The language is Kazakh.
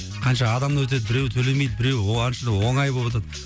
қанша адам өтеді біреуі төлемейді біреуі оңай боватады